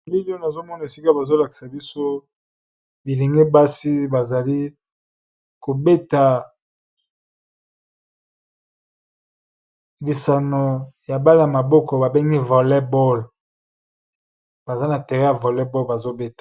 Bilili nazomona esika bazolakisa biso bilingi basi bazali kobeta lisano ya mbala y maboko babengi vl baza na tere ya vollebol bazobeta.